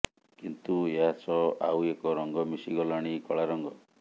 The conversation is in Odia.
କିନ୍ତୁ ଏହା ସହ ଆଉ ଏକ ରଙ୍ଗ ମିଶି ଗଲାଣି କଳା ରଙ୍ଗ